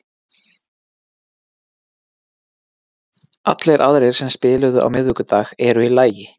Allir aðrir sem spiluðu á miðvikudag eru í lagi.